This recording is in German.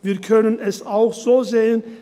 Wir können es auch so sehen: